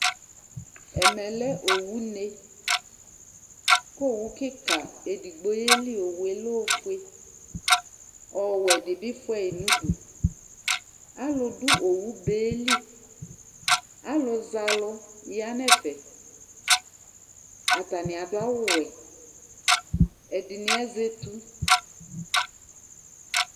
Ɛmɛ lɛ owune Ku owu kika edigbo yeli owu yɛ lɛ ofue Ɔwɛ di bi fua yi nu udu Alu du owu be li Alu zɛ alu ya nu ɛfɛ Atani adu awu wɛ Ɛdini azɛ etu